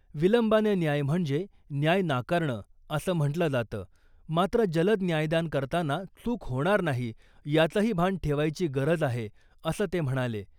विलंबानं न्याय म्हणजे न्याय नाकारणं असं म्हंटलं जातं , मात्र जलद न्यायदान करताना चूक होणार नाही , याचंही भान ठेवायची गरज आहे , असं ते म्हणाले .